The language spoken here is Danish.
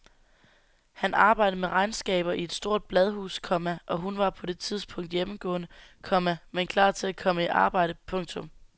Han arbejde med regnskaber i et stort bladhus, komma og hun var på det tidspunkt hjemmegående, komma men klar til at komme i arbejde. punktum